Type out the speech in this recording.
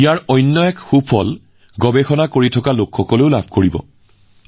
ইয়াৰ আন এটা লাভ হব সেইসকল লোকৰ বাবে যিসকল গৱেষণাৰ লগত জড়িত